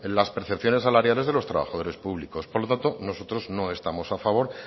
las percepciones salariales de los trabajadores públicos por lo tanto nosotros no estamos a favor